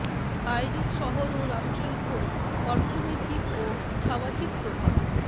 আয়োজক শহর ও রাষ্ট্রের ওপর অর্থনৈতিক ও সামাজিক প্রভাব